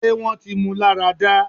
ṣé wọ́n ti mú un lára dá?